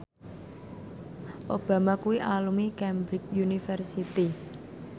Obama kuwi alumni Cambridge University